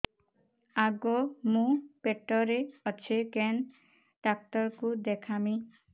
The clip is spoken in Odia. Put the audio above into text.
ଆଗୋ ମୁଁ ପେଟରେ ଅଛେ କେନ୍ ଡାକ୍ତର କୁ ଦେଖାମି